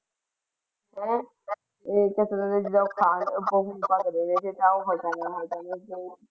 ਉਹ ਤੇ ਕਿੰਨੇ ਦਿਨ ਦਾ ਖਾਣ।